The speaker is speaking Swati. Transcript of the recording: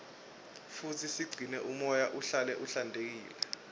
futsi sigcine umoya uhlale uhlantekile